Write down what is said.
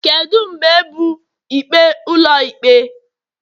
Kedu mgbe bụ ikpe Ụlọikpe?